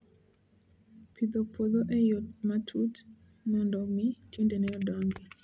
Pidho puodho e yo matut mondo mi tiendene odongi